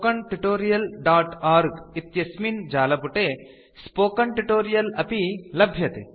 httpspoken tutorialorg इत्यस्मिन् जालपुटे spoken tutorial अपि लभ्यते